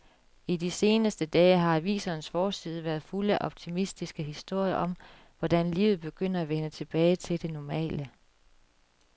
I de seneste dage har avisernes forsider været fulde af optimistiske historier om, hvordan livet begynder at vende tilbage til det normale.